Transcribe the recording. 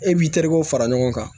E b'i terikɛw fara ɲɔgɔn kan